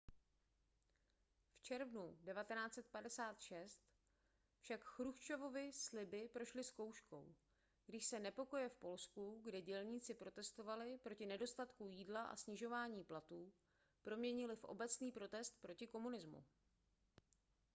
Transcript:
v červnu 1956 však chruščovovy sliby prošly zkouškou když se nepokoje v polsku kde dělníci protestovali proti nedostatku jídla a snižování platů proměnily v obecný protest proti komunismu